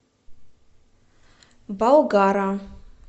болгара